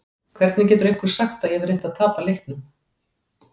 Hvernig getur einhver sagt að ég hafi reynt að tapa leiknum?